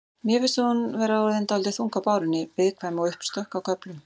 Mér finnst hún vera orðin dálítið þung á bárunni. viðkvæm og uppstökk á köflum.